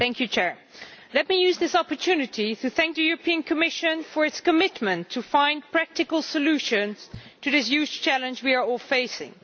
Mr President, let me use this opportunity to thank the European Commission for its commitment to find practical solutions to this huge challenge we are all facing.